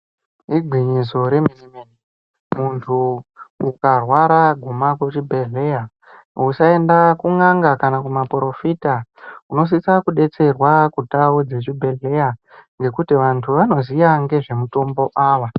Igwinyiso remene mene ,Muntu ukarwara guma kuzvibhehleya .Usaenda kun'anga kana maporofita ,unosisa kudetserwa kundau dzezvibhehleya ngekuti vantu vanoziya ngezvemutombo ava.